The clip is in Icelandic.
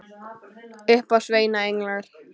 Upp af sveima englar.